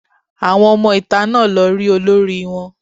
Àwọn ọmọ ìta náà lọ rí olórí wọn